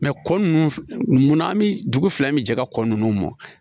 kɔ nunnu munna an bi dugu fila min cɛ ka kɔ nunnu mɔn